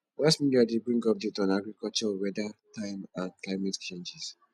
mass media de bring updates on agriculture weather time and climatic changes